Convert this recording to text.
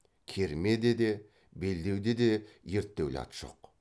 кермеде де белдеуде де ерттеулі ат жоқ